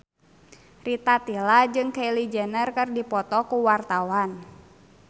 Rita Tila jeung Kylie Jenner keur dipoto ku wartawan